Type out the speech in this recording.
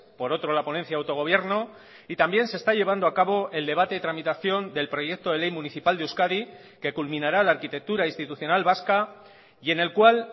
por otro la ponencia de autogobierno y también se está llevando a cabo el debate de tramitación del proyecto de ley municipal de euskadi que culminará la arquitectura institucional vasca y en el cual